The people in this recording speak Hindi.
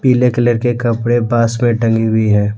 पीले कलर के कपड़े पास में टंगी हुई है।